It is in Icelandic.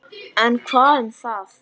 En hvað um það